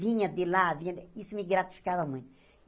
Vinha de lá, vinha... Isso me gratificava muito.